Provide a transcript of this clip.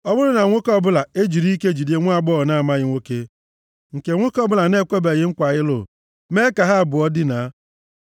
Ọ bụrụ na nwoke ọbụla ejiri ike jide nwaagbọghọ na-amaghị nwoke, nke nwoke ọbụla na-ekwebeghị nkwa ịlụ, mee ka ha abụọ dinaa,